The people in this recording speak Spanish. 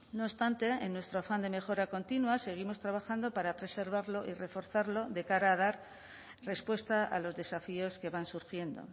no obstante en nuestro afán de mejora continua seguimos trabajando para preservarlo y reforzarlo de cara a dar respuesta a los desafíos que van surgiendo